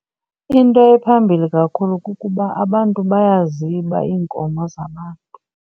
Into ephambilli kakhulu kukuba abantu bayaziba iinkomo zabantu.